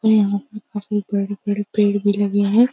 काफ़ी बड़े-बड़े पेड़ भी लगे हैं।